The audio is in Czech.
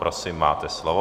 Prosím, máte slovo.